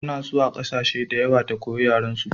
Ta na zuwa ƙasashe da yawa ta koya yaren su